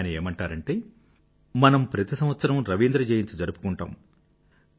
ఆయన ఏమంటారంటే మనం ప్రతి సంవత్సరం రవీంద్ర జయంతి జరుపుకుంటాం